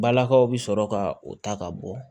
Balakaw bɛ sɔrɔ ka o ta ka bɔ